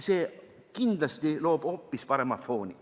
See loob kindlasti hoopis parema fooni.